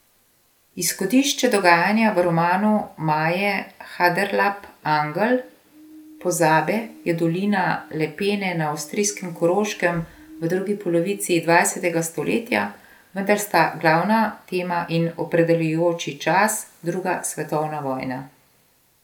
Izhodišče dogajanja v romanu Maje Haderlap Angel pozabe je dolina Lepene na avstrijskem Koroškem v drugi polovici dvajsetega stoletja, vendar sta glavna tema in opredeljujoči čas druga svetovna vojna.